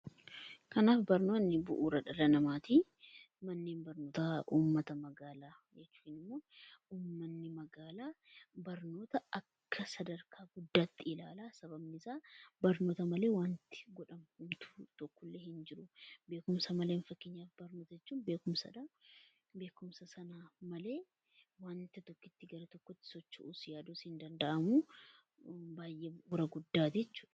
Kanaaf barnoonni bu'uura dhala namaati. Manneen barnootaa uummata magaalaa ykn immoo uummanni magaalaa barnoota akka sadarkaa guddaatti ilaala. Sababni isaa barnoota malee waanti godhamu homtuu tokko illee hin jiru. Beekumsa malee, fakkeenyaaf barnoota jechuun beekumsadhaa. Beekumsa sanaan malee wanti tokko gara tokkoti socho'uu, yaaduus hin danda'aamu. Baay'ee bu'uura guddaati jechuudha.